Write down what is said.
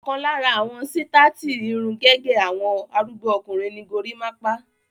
Ọ̀kan lára àwọn sítáátì irun gẹ́gẹ́ àwọn arúgbó ọkùnrin ni gorímápá.